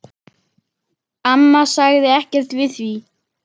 Amma sagði ekkert við því.